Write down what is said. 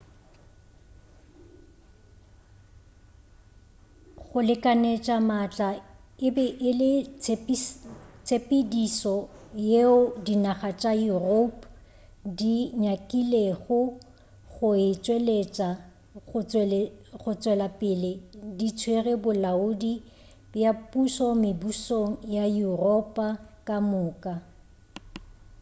go lekanetša maatla e be e le tshepedišo yeo dinaga tša europe di nyakilego go e tšwelapele di tswere bolaodi bja pušo mebušong ya yuropa ka moka